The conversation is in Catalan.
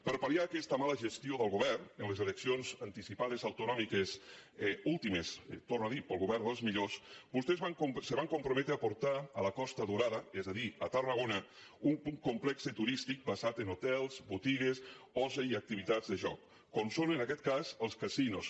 per pal·cions anticipades autonòmiques últimes ho torno a dir pel govern dels millors vostès se van compro·metre a portar a la costa daurada és a dir a tarrago·na un complex turístic basat en hotels botigues oci i activitats de jocs com són en aquest cas els casinos